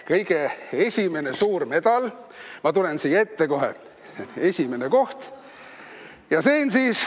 Kõige esimene suur medal – ma tulen siia ette kohe – esimene koht.